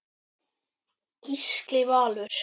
Gísli Valur.